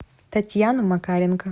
татьяну макаренко